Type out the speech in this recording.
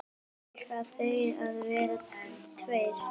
Eiga þeir að vera tveir?